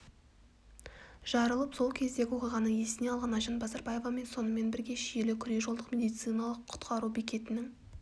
жарылып сол кездегі оқиғаны есіне алған айжан базарбаева сонымен бірге шиелі күре-жолдық медициналық құтқару бекетінің